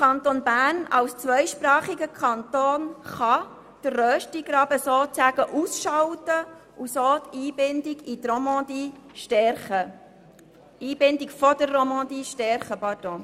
Der Kanton Bern als zweisprachiger Kanton kann den Röstigraben sozusagen ausschalten und so die Einbindung der Romandie stärken.